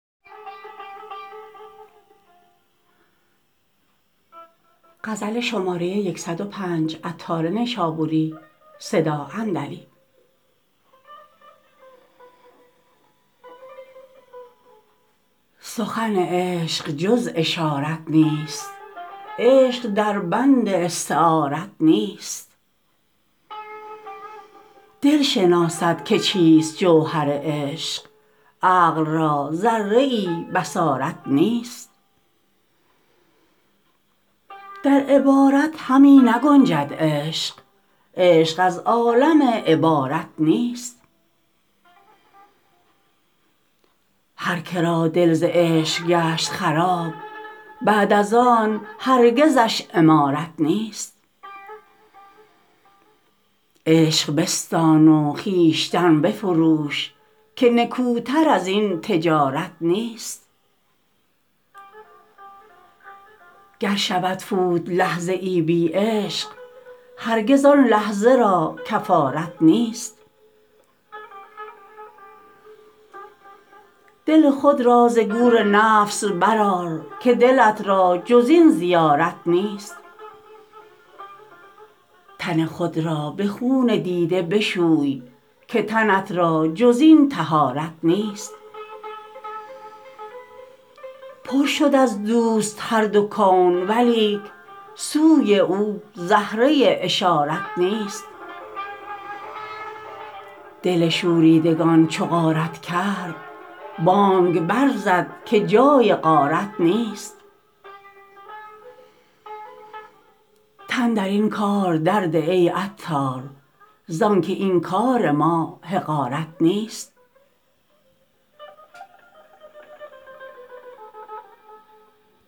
سخن عشق جز اشارت نیست عشق در بند استعارت نیست دل شناسد که چیست جوهر عشق عقل را ذره ای بصارت نیست در عبارت همی نگنجد عشق عشق از عالم عبارت نیست هر که را دل ز عشق گشت خراب بعد از آن هرگزش عمارت نیست عشق بستان و خویشتن بفروش که نکوتر ازین تجارت نیست گر شود فوت لحظه ای بی عشق هرگز آن لحظه را کفارت نیست دل خود را ز گور نفس برآر که دلت را جز این زیارت نیست تن خود را به خون دیده بشوی که تنت را جز این طهارت نیست پر شد از دوست هر دو کون ولیک سوی او زهره اشارت نیست دل شوریدگان چو غارت کرد بانگ بر زد که جای غارت نیست تن در این کار در ده ای عطار زانکه این کار ما حقارت نیست